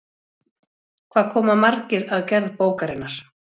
Hvað koma margir að gerð bókarinnar?